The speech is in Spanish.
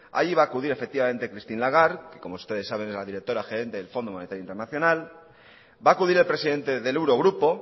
ahí va a acudir efectivamente christine lagarde que como ustedes saben es la directora gerente del fondo monetario internacional va a acudir el presidente del eurogrupo